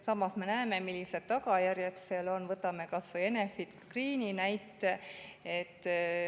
Samas me näeme, millised tagajärjed sellel on, võtame kas või Enefit Greeni näite.